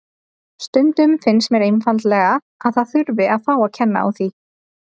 Stundum finnst mér einfaldlega að það þurfi að fá að kenna á því.